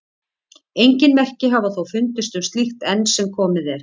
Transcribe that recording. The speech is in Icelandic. Engin merki hafa þó fundist um slíkt enn sem komið er.